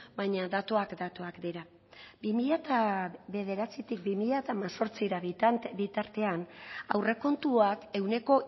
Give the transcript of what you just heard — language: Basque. baina datuak datuak dira bi mila bederatzitik bi mila hemezortzira bitartean aurrekontuak ehuneko